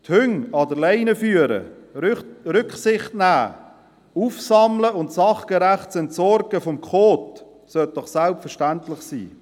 Die Hunde an der Leine zu führen, Rücksicht zu nehmen sowie das Aufsammeln und sachgerechte Entsorgen des Kots sollte doch selbstverständlich sein.